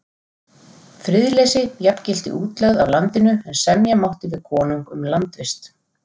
Friðleysi jafngilti útlegð af landinu, en semja mátti við konung um landvist.